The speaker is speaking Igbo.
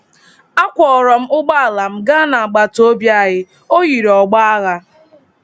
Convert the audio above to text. A kwọọrọ m ụgbọala m gaa n’agbataobi anyị; o yiri ọgbọ agha.